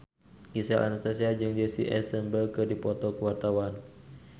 Gisel Anastasia jeung Jesse Eisenberg keur dipoto ku wartawan